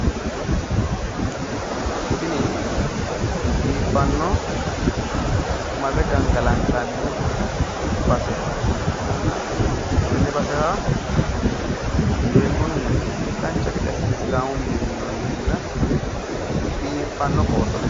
tini biiffanno marre gangalantanni base ikkitanno tenne basera sheekkunni dancha gede assine sidaamu mine minnoonni minna biiffanno qooxo ledo.